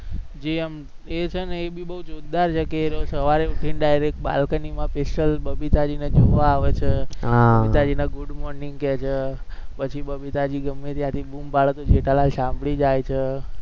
જે એમ એ છે ને એ ભી બોવ જોરદાર છે કે એ સવારે ઉઠીને direct બાલ્કનીમાં special બબીતાજીને જોવા આવે છે, હા બબીતાજીને good morning કે છે પછી બબીતાજી ગમે ત્યાંથી બૂમ પાડે તો જેઠાલાલ સાંભળી જાય છે